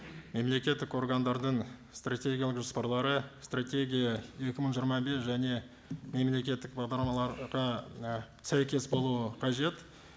мемлекеттік органдардың стратегиялық жоспарлары стратегия екі мың жиырма бес және мемлекеттік бағдарламаларға і сәйкес болуы қажет